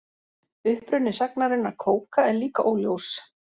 Uppruni sagnarinnar kóka er líka óljós.